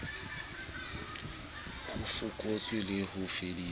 ho fokotsa le ho fedisa